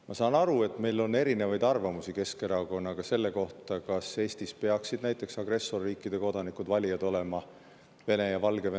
Ma saan aru, et meil on erinevaid arvamusi Keskerakonnaga selle kohta, kas Eestis peaksid näiteks agressorriikide kodanikud, Vene ja Valgevene kodanikud, valida saama.